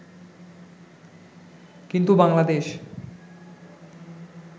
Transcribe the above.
কিন্তু বাংলাদেশ